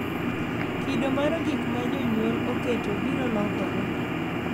Kido mar gik ma jonyuol oketo biro lokore